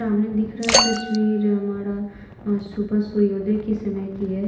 सामने दिख रहा तस्वीर हमारा आज सुबह सूर्योदय के समय की है।